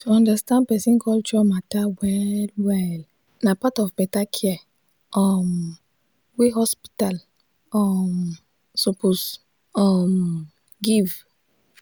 to understand person culture matter well-well na part of better care um wey hospital um suppose um give.